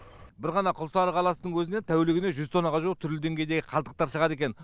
бір ғана құлсары қаласының өзінен тәулігіне жүз тоннаға жуық түрлі деңгейдегі қалдықтар шығады екен